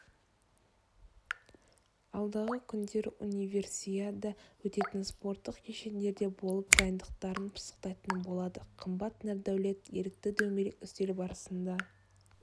алдағы күндері универсиада өтетін спорттық кешендерде болып дайындықтарын пысықтайтын болады қымбат нұрдәулет ерікті дөңгелек үстел барысында